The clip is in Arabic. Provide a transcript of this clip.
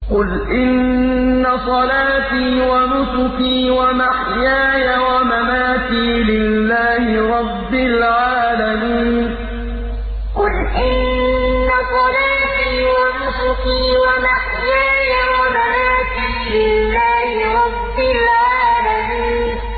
قُلْ إِنَّ صَلَاتِي وَنُسُكِي وَمَحْيَايَ وَمَمَاتِي لِلَّهِ رَبِّ الْعَالَمِينَ قُلْ إِنَّ صَلَاتِي وَنُسُكِي وَمَحْيَايَ وَمَمَاتِي لِلَّهِ رَبِّ الْعَالَمِينَ